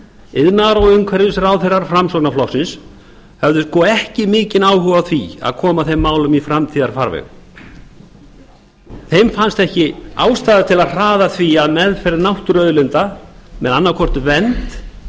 iðnaðar og umhverfisráðherrar framsóknarflokksins höfðu ekki mikinn áhuga á að koma þeim málum í framtíðarfarveg þeim fannst ekki ástæða til að hraða því að meðferð náttúruauðlinda með annað hvort vernd